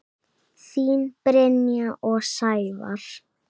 Þín Brynja og Sævar.